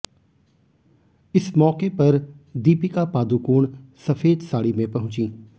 इस मौके पर दीपिका पादुकोण सफेद साड़ी में पहुंची